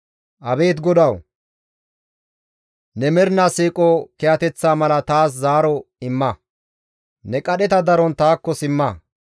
Abeet GODAWU! Ne mernaa siiqo kiyateththa mala taas zaaro imma; Ne qadheta daron taakko simma.